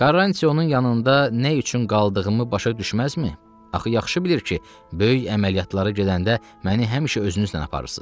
Karrantı onun yanında nə üçün qaldığımı başa düşməzmi, axı yaxşı bilir ki, böyük əməliyyatlara gedəndə məni həmişə özünüzlə aparırsız?